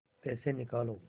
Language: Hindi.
पैसे निकालो